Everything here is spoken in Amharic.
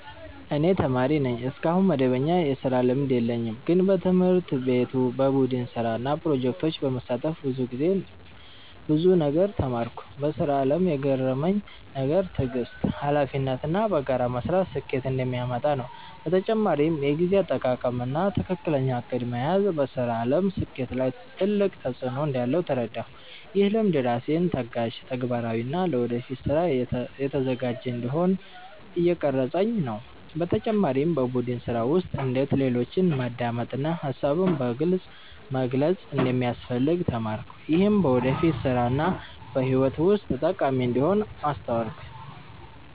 እኔ ተማሪ ነኝ፣ እስካሁን መደበኛ የስራ ልምድ የለኝም። ግን በትምህርት ቤት በቡድን ስራ እና ፕሮጀክቶች በመሳተፍ ብዙ ነገር ተማርኩ። በስራ አለም የገረመኝ ነገር ትዕግስት፣ ሀላፊነት እና በጋራ መስራት ስኬትን እንደሚያመጣ ነው። በተጨማሪም የጊዜ አጠቃቀም እና ትክክለኛ እቅድ መያዝ በስራ አለም ስኬት ላይ ትልቅ ተፅዕኖ እንዳለው ተረዳሁ። ይህ ልምድ ራሴን ታጋሽ፣ ተግባራዊ እና ለወደፊት ስራ የተዘጋጀ እንዲሆን እየቀረፀኝ ነው። በተጨማሪም በቡድን ስራ ውስጥ እንዴት ሌሎችን ማዳመጥ እና ሀሳብን በግልፅ መግለጽ እንደሚያስፈልግ ተማርኩ። ይህም በወደፊት ስራ እና በህይወት ውስጥ ጠቃሚ እንደሚሆን አስተዋልኩ።